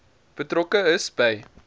betrokke is by